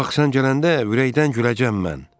Bax sən gələndə ürəkdən güləcəm mən.